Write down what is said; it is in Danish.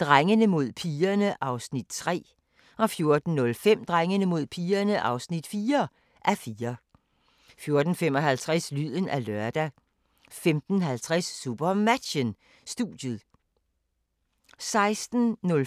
Drengene mod pigerne (3:4) 14:05: Drengene mod pigerne (4:4) 14:55: Lyden af lørdag 15:50: SuperMatchen: Studiet 16:05: SuperMatchen: Skanderborg-TTH Holstebro (m), direkte